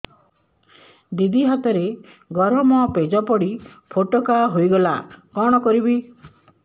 ଦିଦି ହାତରେ ଗରମ ପେଜ ପଡି ଫୋଟକା ହୋଇଗଲା କଣ କରିବି